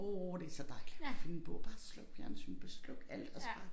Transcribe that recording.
Åh det så dejligt finde en bog bare slukke fjernsynet bare slukke alt og så bare